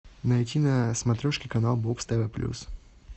найти на смотрешке канал бокс тв плюс